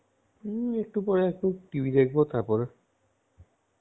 এই একটু পরে TV দেখবো, তারপর